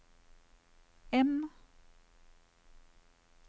M